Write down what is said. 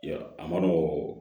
Yɔrɔ a ma nɔgɔn